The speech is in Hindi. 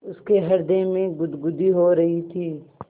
उसके हृदय में गुदगुदी हो रही थी